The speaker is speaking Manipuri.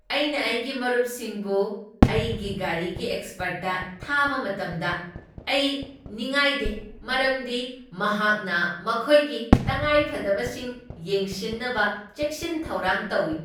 ꯑꯩꯅ ꯑꯩꯒꯤ ꯃꯔꯨꯞꯁꯤꯡꯕꯨ ꯑꯩꯒꯤ ꯒꯥꯔꯤꯒꯤ ꯑꯦꯛꯁꯄꯔꯠꯇ ꯊꯥꯕ ꯃꯇꯝꯗ ꯑꯩ ꯅꯤꯉꯉꯥꯏꯗꯦ ꯃꯔꯝꯗꯤ ꯃꯍꯥꯛꯅ ꯃꯈꯣꯏꯒꯤ ꯇꯉꯥꯏꯐꯗꯕꯁꯤꯡ ꯌꯦꯡꯁꯤꯟꯅꯕ ꯆꯦꯛꯁꯤꯟ ꯊꯧꯔꯥꯡ ꯇꯧꯢ꯫